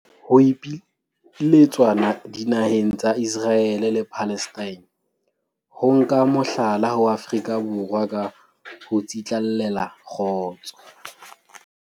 Ho ipiletswa dinaheng tsa Iseraele le Palestina ho nka mohlala ho Afrika Borwa ka ho tsitlallela kgotso